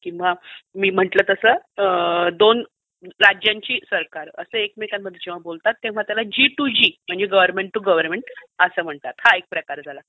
किंवा मी म्हंटलं तसं दोन राज्यांची सरकार एकमेकांशी बोलतात तेव्हा जी टू जी हा एक प्रकार झाला.